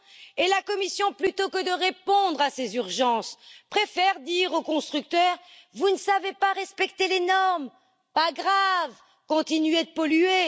Et la Commission, plutôt que de répondre à ces urgences, préfère dire au constructeur vous ne savez pas respecter les normes, ce n'est pas grave, continuez de polluer.